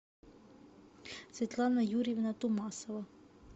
светлана юрьевна тумасова